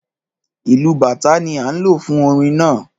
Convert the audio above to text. Ìlù bàtá ni a ń lo fún orin náà